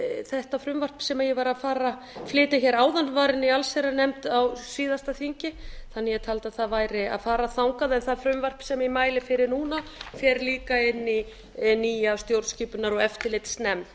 þetta frumvarp sem ég var að flytja hér áðan var inni í allsherjarnefnd á síðasta þingi þannig að ég taldi að það væri að fara þangað en það frumvarp sem ég mæli fyrir núna fer líka inn í nýja stjórnskipunar og eftirlitsnefnd